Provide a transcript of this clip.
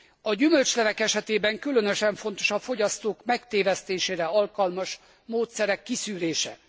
A gyümölcslevek esetében különösen fontos a fogyasztók megtévesztésére alkalmas módszerek kiszűrése.